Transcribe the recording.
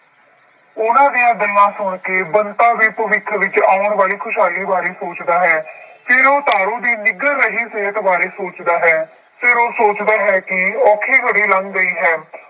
ਉਹਨਾ ਦੀਆਂ ਗੱਲਾਂ ਸੁਣਕੇ ਬੰਤਾ ਵੀ ਭਵਿੱਖ ਵਿੱਚ ਆਉਣ ਵਾਲੀ ਖੁਸ਼ਹਾਲੀ ਬਾਰੇ ਸੋਚਦਾ ਹੈ। ਫਿਰ ਉਹ ਤਾਰੋ ਦੀ ਨਿੱਘਰ ਰਹੀ ਸਿਹਤ ਬਾਰੇ ਸੋਚਦਾ ਹੈ। ਫੇਰ ਉਹ ਸੋਚਦਾ ਹੈ ਕਿ ਔਖੀ ਘੜੀ ਲੰਘ ਗਈ ਹੈ।